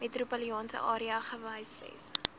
metropolitaanse area gehuisves